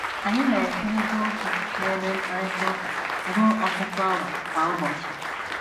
Anyị na - ekwurịta okwu n’ebe mkparịta ụka ruo ọtụtụ awa kwa ụbọchị.